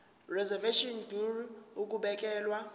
reservation ngur ukubekelwa